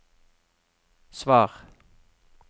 svar